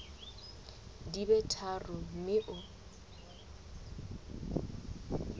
di be tharo mme o